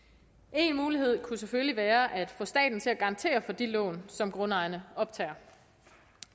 en mulighed kunne selvfølgelig være at få staten til at garantere for de lån som grundejerne optager